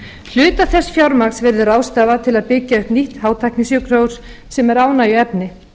hluta þess fjármagns verður ráðstafað til að byggja upp nýtt hátæknisjúkrahús sem er ánægjuefni